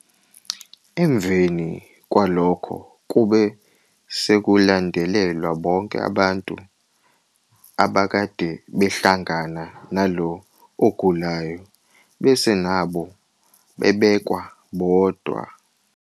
Emveni kwalokho kube sekulandelelwa bonke abantu abake bahlangana nalo ogulayo, bese nabo bebekwa bodwa.